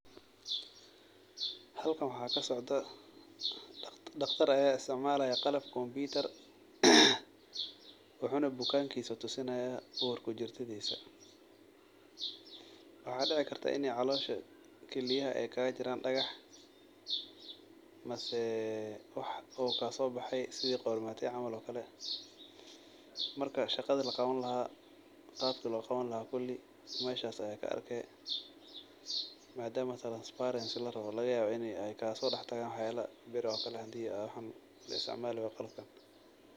Halkan waxaa kasocdaah daqtar ayaa isticmalaya qalab kompitar, wuxu na bukankisa tusinaya ur kujartadisa, waxaa dici kartah ini calosha kiliyaha ay kagajiran dagax, mase wax oo kasobexe sidi qormate camal oo kale . Marka shaqada laqawan lahaa , qabka loqawan lahaa kudi meshan aa kaarki , madama transparency larawo lagayabo in ay sodax galan waxyala bir kale hadi laisticmali wayo birtan.